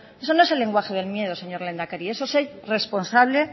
eso no es el lenguaje del miedo señor lehendakari eso es ser responsable